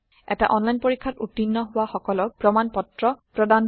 এটা অনলাইন পৰীক্ষাত উত্তীৰ্ণ হোৱা সকলক প্ৰমাণ পত্ৰ প্ৰদান কৰে